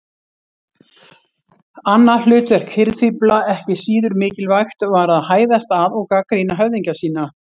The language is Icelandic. Annað hlutverk hirðfífla, ekki síður mikilvægt, var að hæðast að og gagnrýna höfðingja sína.